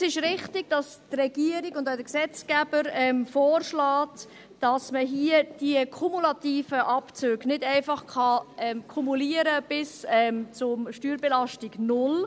Es ist richtig, dass die Regierung und der Gesetzgeber vorschlagen, dass man hier diese kumulativen Abzüge nicht einfach kumulieren kann bis zur Steuerbelastung null.